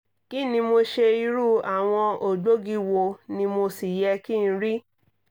kí ni mo ṣe irú àwọn ògbógi wo ni mo sì yẹ kí n rí?